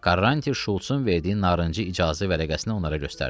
Karranti Şultsun verdiyi narıncı icazə vərəqəsinə onlara göstərdi.